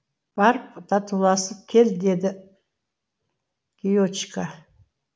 барып татуласып кел деді гиочика